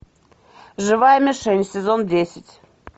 живая мишень сезон десять